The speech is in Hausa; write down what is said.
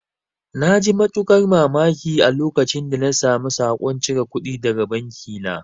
Na ji matuƙar mamaki a lokacin da na samu saƙon cire kudi daga banki na